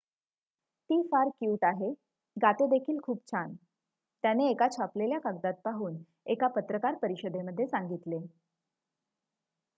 """ती फार क्यूट आहे गाते देखील खूप छान" त्याने एका छापलेल्या कागदात पाहून एका पत्रकार परिषदेमध्ये सांगितले.